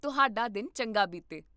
ਤੁਹਾਡਾ ਦਿਨ ਚੰਗਾ ਬੀਤੇ!